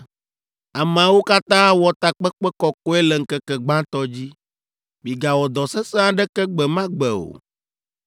Ameawo katã awɔ takpekpe kɔkɔe le ŋkeke gbãtɔ dzi. Migawɔ dɔ sesẽ aɖeke gbe ma gbe o.